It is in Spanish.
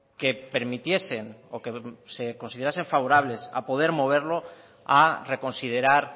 que permitiesen o se considerasen favorables a poder moverlo a reconsiderar